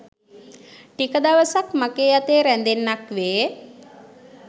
ටික දවසක් මගේ අතේ රැඳෙන්නක් වේ.